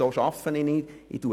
So arbeite ich aber nicht;